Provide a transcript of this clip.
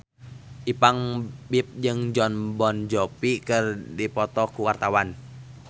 Ipank BIP jeung Jon Bon Jovi keur dipoto ku wartawan